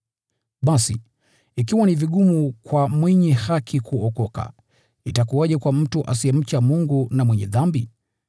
Basi, “Ikiwa ni vigumu kwa mwenye haki kuokoka, itakuwaje kwa mtu asiyemcha Mungu na mwenye dhambi?”